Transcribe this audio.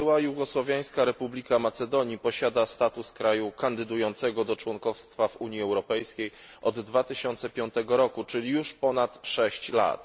Była jugosłowiańska republika Macedonii posiada status kraju kandydującego do członkostwa w Unii Europejskiej od 2005 r., czyli już ponad sześć lat.